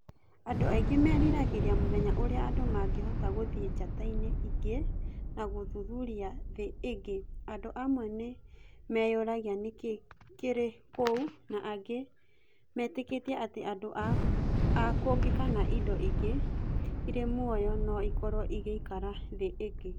Andũ aingĩ meriragĩria mũthenya ũrĩa andũ mangĩhota gũthiĩ njata-inĩ ĩngĩ na gũthuthuria thĩ ingĩ, andũ amwe nĩ meyũragia nĩ kĩĩ kĩrĩ kũu na angĩ metĩkĩtie atĩ andũ a kũngĩ kana indo ingĩ irĩ muoyo no ikorũo igĩikara thĩ ĩngĩ.